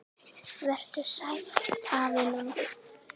Vertu sæll, afi minn.